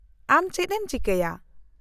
-ᱟᱢ ᱪᱮᱫ ᱮᱢ ᱪᱤᱠᱟᱹᱭᱟ ?